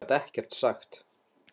Hann gat ekkert sagt.